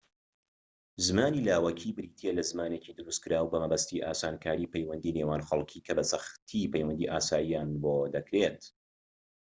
زمانی لاوەکی بریتیە لە زمانێکی دروستکراو بە مەبەستی ئاسانکاریی پەیوەندی نێوان خەڵكی کە بە سەختی پەیوەندی ئاساییان بۆ دەکرێت